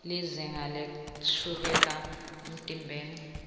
lizinga lashukela emtimbeni